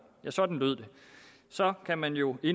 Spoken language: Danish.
ja sådan lød det så kan man jo i